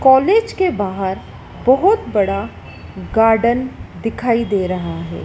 College के बाहर बहोत बड़ा गार्डन दिखाई दे रहा है।